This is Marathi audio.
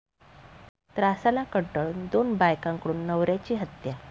त्रासाला कंटाळून दोन बायकांकडून नवऱ्याची हत्या